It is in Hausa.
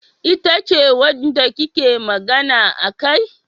Ita ce wanda kike magana akai?